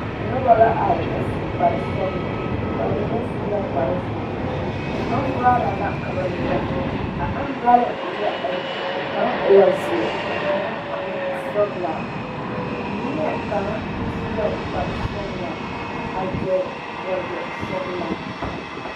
Noba la are a su kpar sɔgelɔ ba mine su la kpar zeere ambrɔla la ka ba nyɔge a ambrɔla e la ayi kaŋa e la zeɛ ka kaŋa a meŋ e sɔgelaa neɛkaŋa su la kpar sɔgelaa a gyere wagyɛ sɔgelaa